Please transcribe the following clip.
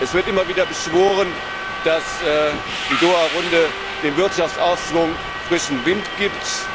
Es wird immer wieder beschworen, dass die Doha Runde dem Wirtschaftsaufschwung frischen Wind gibt.